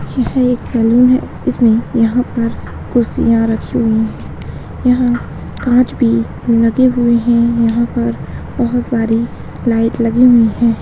यह एक सलून है इसमे यहां पर कुर्सियां रखी हुई है यहां कांच भी लगे हुए है यहां पर बहुत सारी लाइट लगी हुई है।